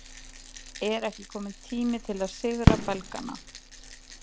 Er ekki kominn tími til að sigra Belgana?